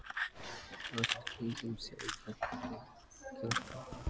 Allt í kringum þau vanga krakkar.